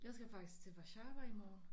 Jeg skal faktisk til Warszawa i morgen